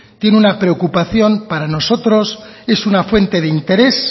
tiene una preocupación para nosotros es una fuente de interés